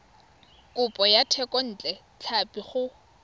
kopo ya thekontle tlhapi go